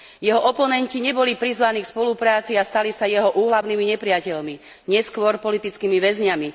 Jeho oponenti neboli prizvaní k spolupráci a stali sa jeho úhlavnými nepriateľmi, neskôr politickými väzňami.